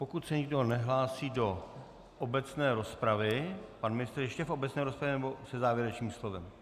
Pokud se nikdo nehlásí do obecné rozpravy - pan ministr ještě do obecné rozpravy, nebo se závěrečným slovem?